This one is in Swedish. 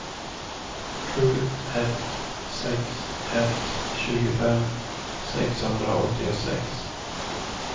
sju ett sex ett tjugofem sexhundraåttiosex